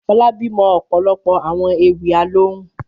Fọlábí mọ ọ̀pọ̀lọpọ̀ àwọn ewì alohùn.